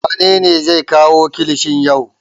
Wane ne zai kawo kilishin yau?